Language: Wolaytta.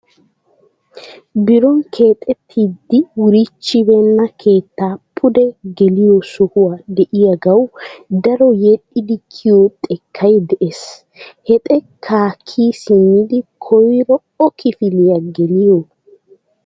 Biron keexxettidi wurichchibeena keettaa pude geliyo sohoy de'iyaagawuy daro yedhdhidi kiyiyyo xekkay de'ees. He xekka kiyyi simmidi koyro o kifiliya geliyoo?